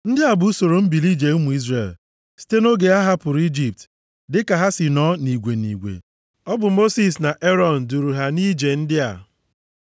Ndị a bụ usoro mbili ije ụmụ Izrel, site nʼoge ha hapụrụ Ijipt dịka ha si nọọ nʼigwe nʼigwe. Ọ bụ Mosis na Erọn duuru ha nʼije ndị a.